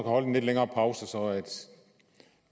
holdt en lidt længere pause så